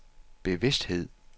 bevidsthed